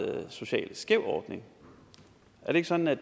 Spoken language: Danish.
socialt skæv ordning er det ikke sådan at